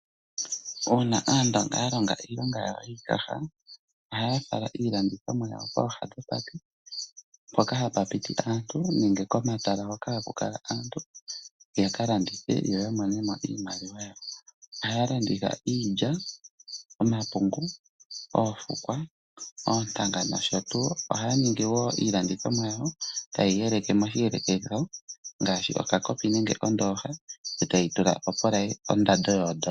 Uuna Aandonga ya longa iilonga yawo yiikaha, ohaya fala iilandithomwa yawo kooha dhopate mpoka hapa piti aantu, nenge komatala hoka haku kala aantu ya ka landithe, yo ya monemo iimaliwa yawo. Ohaya landitha iilya, omapungu, oofukwa, oonyanga nosho tuu. Ohaya ningi wo iilandithomwa yawo, taye yi yeleke moshiyelekitho ngaashi okakopi nenge kondoha, e taye yi tula ondando yoondola.